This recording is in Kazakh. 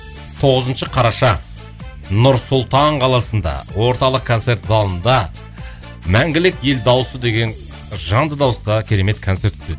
тоғызыншы қараша нұр сұлтан қаласында орталық концерт залында мәңгілік ел дауысы деген жанды дауыста керемет концерт өтеді